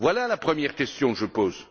Voilà la première question que je pose.